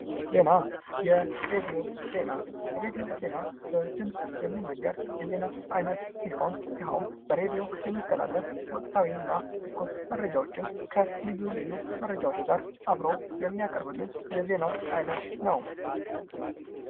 ዜና የሬድዮ ዜና በድምፅ የሚነገር የዜና አይነት ሲሆን ይኸውም በሬድዮ የሚተላለፍ ወቅታዊይና ትኩስ መረጃዎችን ከልዩ ልዩ መረጃዎች ጋር አብሮ የሚያቀርብልን የዜና አይነት ነው?